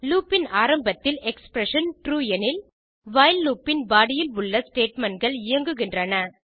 loop இன் ஆரம்பத்தில் expression true எனில் வைல் லூப் இன் பாடி இல் உள்ள statementகள் இயங்குகின்றன